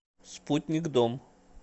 спутник дом